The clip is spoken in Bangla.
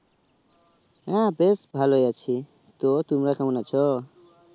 হ্যাঁ বেশ ভালোই আছি তো তোমারা কেমন আছো